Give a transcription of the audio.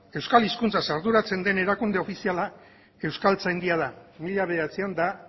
euskal hizkuntzaz arduratzen den erakunde ofiziala euskaltzaindia da mila bederatziehun eta